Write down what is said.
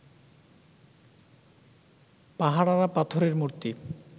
পাহারারা পাথরের মূর্তি